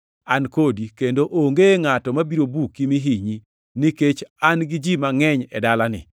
An kodi, kendo onge ngʼato mabiro buki mi hinyi, nikech an gi ji mangʼeny e dalani.”